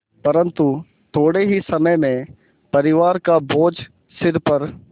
परन्तु थोडे़ ही समय में परिवार का बोझ सिर पर